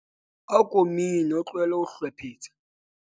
ako mine o tlohele ho hlwephetsa